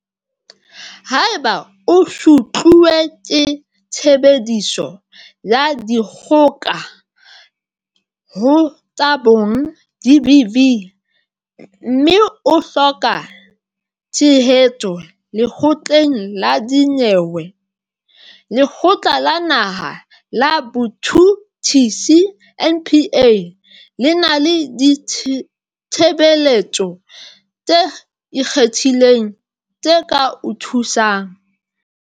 Haeba o sutluwe ke Tshebediso ya Dikgoka ho tsa Bong, GBV, mme o hloka tshehetso lekgotleng la dinyewe, Lekgotla la Naha la Botjhutjhisi, NPA, le na le ditshebeletso tse ikgethileng tse ka o thusang.